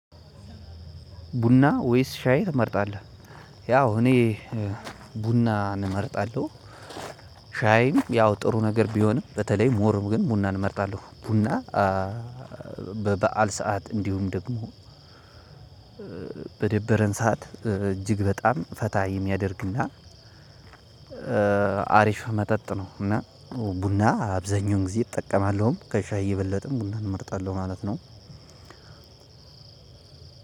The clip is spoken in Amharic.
ቡና ወይስ ሻይ ትመርጣለህ? ያው እኔ ቡናን እመርጣለሁ። ሻይም ያው ጥሩ ነገር ቢሆንም በተለይ ሞር ግን ቡናን እመርጣለሁ ቡና። በበዓል ሰዓት እንዲሁም ደግሞ በደበረን ሰዓት እጅግ በጣም ፈታ የሚያደርግና አሪፍ መጠጥ ነው። እና ቡና አብዛኛውን ጊዜ እጠቀማለሁም ከሻይ የበለጠም ቡናን እመርጣለሁ ማለት ነው።